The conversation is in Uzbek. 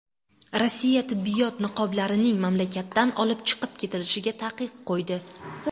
Rossiya tibbiyot niqoblarining mamlakatdan olib chiqib ketilishiga taqiq qo‘ydi.